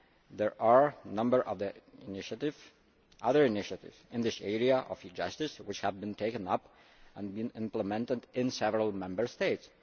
There are a number of other initiatives in the area of e Justice which have been taken up and implemented in several Member States.